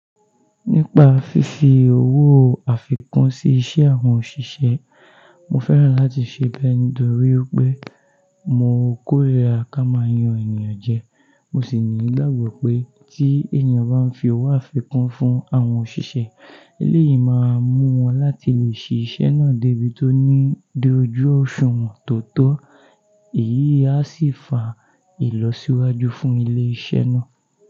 Nípa fífi owó àfikún sí iṣẹ́ àwọn òṣìṣẹ́, mo fẹ́ràn láti ṣe bẹ́ẹ̀ nítorí wipé mo kórira ká máa yan ènìyàn jẹ. Mo sì ní i ìgbàgbọ́ pé tí ènìyàn bá ń fi owó àfikún fún àwọn òṣìṣẹ́, eléyìí máa mú wọn láti lè ṣe iṣẹ́ náà débi tó ní dojú ọ̀ṣùwọ̀n tó tọ́. Èyí a sì fa ìlọsíwájú fún ilé-iṣẹ́ náà.